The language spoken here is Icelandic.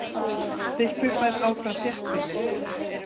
Þykkvibær áfram þéttbýli